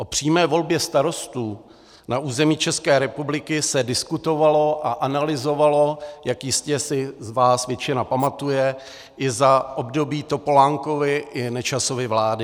O přímé volbě starostů na území České republiky se diskutovalo a analyzovalo, jak jistě si z vás většina pamatuje, i za období Topolánkovy i Nečasovy vlády.